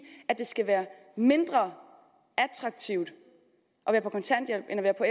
at det skal være mindre attraktivt at være på kontanthjælp end at være på